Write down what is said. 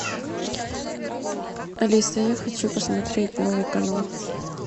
алиса я хочу посмотреть новый канал